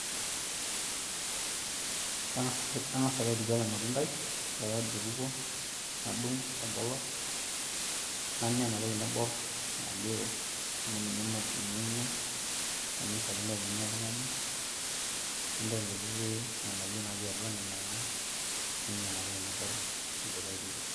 kang'as ake aituku ele matundai ore pee aidip atukuo nadung', nanya enatoki naibor nalio amu ninye enyae naa ninye ishakino piinya oltung'ani nintau nena kutitik anterera ninang'aa ninya inatoki naibor idipa aitukuo.